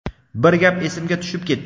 bir gap esimga tushib ketdi:.